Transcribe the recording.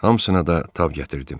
Hamısına da tab gətirdim.